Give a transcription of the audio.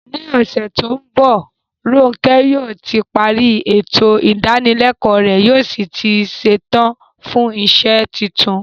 Ní ọ̀sẹ̀ tó ń bọ̀, Ronke yóò ti parí ètò ìdánilẹ́kọ̀ọ́ rẹ̀ yóò sì ti ṣetán fún iṣẹ́ tuntun.